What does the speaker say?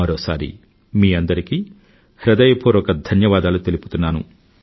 మరోసారి మీ అందరికీ హృదయపూర్వక ధన్యవాదాలు తెలుపుతున్నాను